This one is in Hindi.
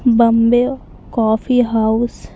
Bombay coffee house --